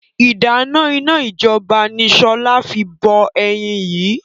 Ìdáná iná ijọba ni sọlá fi bọ ẹyin yìí